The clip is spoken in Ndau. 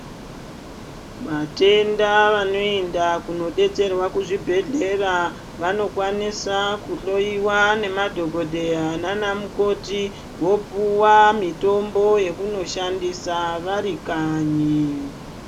Vatenda vanoenda kunodetserwa kuzvibhehlera vanokwaniswa kuhloiwa namadhokodheya nanamukoti vopuwa mitombo yokunoshandisa varikanyi.